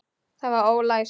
Það var ólæst.